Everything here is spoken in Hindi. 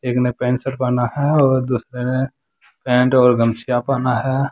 एक ने पैंट शर्ट पहना है और दूसरे ने पैंट और गमछा पहना है।